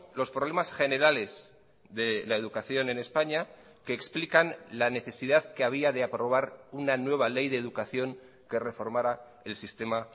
los problemas generales de la educación en españa que explican la necesidad que había de aprobar una nueva ley de educación que reformara el sistema